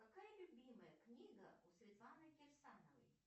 какая любимая книга у светланы кирсановой